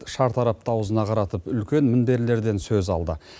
шартарапты аузына қаратып үлкен мінберлерден сөз алды